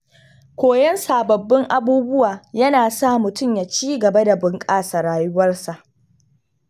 Koyon sababbin abubuwa yana sa mutum ya ci gaba da bunƙasa rayuwarsa.